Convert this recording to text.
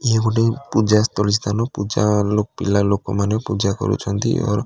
ଇଏ ଗୋଟେ ପୂଜା ସ୍ଥଳୀ ସ୍ଥାନ ପୂଜା ପିଲା ଲୋକମାନେ ପୂଜା କରୁଛନ୍ତି ଅର୍ --